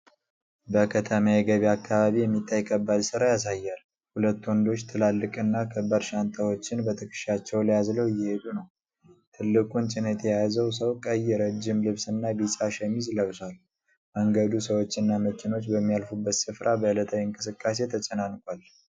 በከተማ የገበያ አካባቢ የሚታይ ከባድ ሥራ ያሳያል። ሁለት ወንዶች ትላልቅና ከባድ ሻንጣዎችን በትከሻቸው ላይ አዝለው እየሄዱ ነው። ትልቁን ጭነት የያዘው ሰው ቀይ ረጅም ልብስና ቢጫ ሸሚዝ ለብሷል። መንገዱ ሰዎችና መኪኖች በሚያልፉበት ስፍራ በዕለታዊ እንቅስቃሴ ተጨናንቋል።